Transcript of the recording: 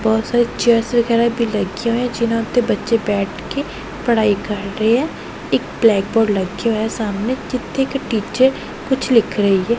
ਬਹੁਤ ਸਾਰੀ ਚੇਅਰਸ ਵਗੈਰਾ ਭੀ ਲੱਗੀਆਂ ਹੋਈਆਂ ਜਿਨ੍ਹਾਂ ਉੱਤੇ ਬੱਚੇ ਬੈਠ ਕੇ ਪੜਾਈ ਕਰ ਰਹੇ ਐ। ਇੱਕ ਬਲੈਕ ਬੋਰਡ ਲੱਗਿਆ ਹੋਇਆ ਸਾਹਮਣੇ ਜਿੱਥੇ ਇੱਕ ਟੀਚਰ ਕੁਛ ਲਿਖ ਰਹੀ ਐ।